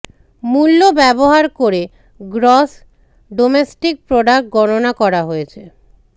মূল্য ব্যবহার করে গ্রস ডোমেস্টিক প্রোডাক্ট গণনা করা হয়েছে